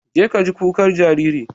Jeka ka ji kukar jariri.